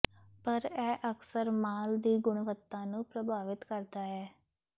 ਪਰ ਇਹ ਅਕਸਰ ਮਾਲ ਦੀ ਗੁਣਵੱਤਾ ਨੂੰ ਪ੍ਰਭਾਵਿਤ ਕਰਦਾ ਹੈ